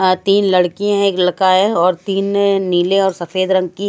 तीन लड़की है एक लड़का है और तीन नीले और सफेद रंग की--